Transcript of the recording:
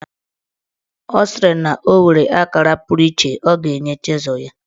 Ọ sịrị na o nwere akara puru iche ọ ga-enye chịzụl ya.